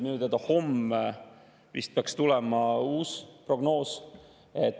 Minu teada homme vist peaks tulema uus prognoos.